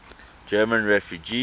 german refugees